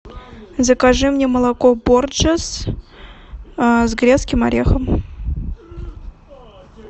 закажи мне молоко порджес с грецким орехом